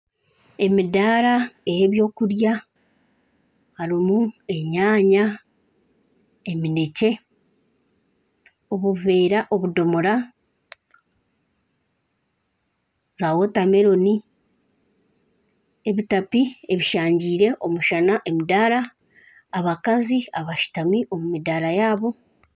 Emidaara ey'ebyokurya hariho enyaanya eminekye, obuveera obudomora na wotameloni, emitaka eshangiire omushana emidaara, abakazi abashutami omu midaara yaabo